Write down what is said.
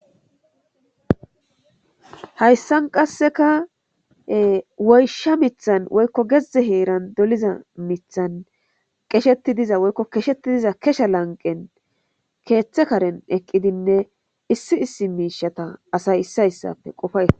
Hayssan qasseka woysha mithan woykko gezdze heeran doliza mithan qesheti diza woykko keshetti diza kesha lanqen keeththe karen eqqidinne issi issi miishata asay issi hayssafe qofaya.